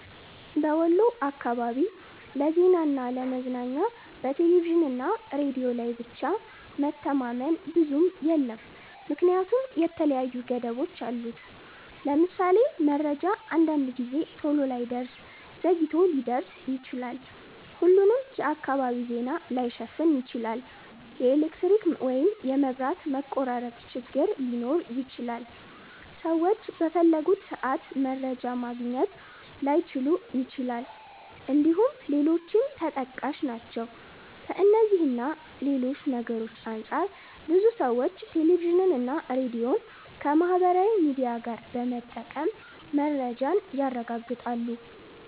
በወሎ አካባቢ ለዜናና ለ ለመዝናኛ በቴሌቪዥንና ሬዲዮ ላይ ብቻ መተማመን ብዙም የለም ምክንያቱም የተለያዩ ገደቦች አሉት። ለምሳሌ:- መረጃ አንዳንድ ጊዜ ቶሎ ላይደርስ ዘግይቶ ሊደርስ ይችላል፣፣ ሁሉንም የአካባቢ ዜና ላይሸፍን ይችላል፣ የኤሌክትሪክ ወይም የመብራት መቆራረጥ ችግር ሊኖር ይችላል፣ ሰዎች በፈለጉት ሰአት መረጃ ማግኘት ላይችሉ ይችላል እንድሁም ሌሎችም ተጠቃሽ ናቸው። ከእነዚህ እና ሌሎች ነገርሮች አንፃር ብዙ ሰዎች ቴሌቪዥንና ሬዲዮን ከማህበራዊ ሚዲያ ጋር በመጠቀም መረጃን ያረጋግጣሉ።